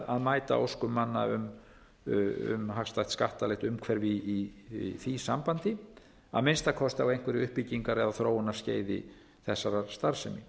að mæta óskum manna um hagstætt skattalegt umhverfi í því sambandi að minnsta kosti á einhverju uppbyggingar eða þróunarskeiði þessarar starfsemi